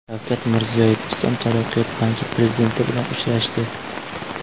Shavkat Mirziyoyev Islom taraqqiyot banki prezidenti bilan uchrashdi.